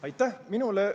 Aitäh!